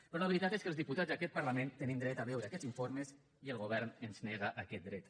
però la veritat és que els diputats d’aquest parlament tenim dret a veure aquests informes i el govern ens nega aquest dret